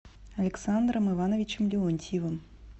александром ивановичем леонтьевым